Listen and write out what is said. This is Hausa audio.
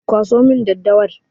Kwaso min daddawar!